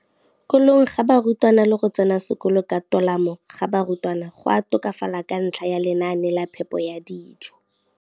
kolong ga barutwana le go tsena sekolo ka tolamo ga barutwana go a tokafala ka ntlha ya lenaane la phepo ya dijo.